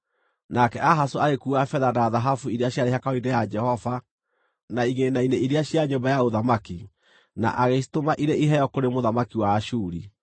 Nake Ahazu agĩkuua betha na thahabu iria ciarĩ hekarũ-inĩ ya Jehova, na igĩĩna-inĩ iria cia nyũmba ya ũthamaki, na agĩcitũma irĩ iheo kũrĩ mũthamaki wa Ashuri.